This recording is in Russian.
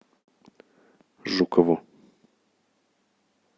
жукову